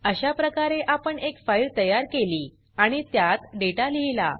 अशाप्रकारे आपण एक फाइल तयार केली आणि त्यात डेटा लिहिला